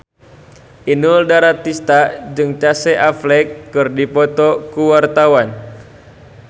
Inul Daratista jeung Casey Affleck keur dipoto ku wartawan